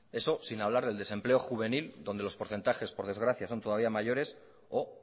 eso sin hablar del desempleo juvenil donde los porcentajes por desgracia son todavía mayores o